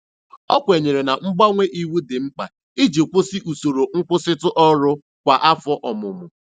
O kwenyere na mgbanwe iwu dị mkpa iji kwụsị usoro nkwụsịtụ ọrụ kwa afọ ọmụmụ.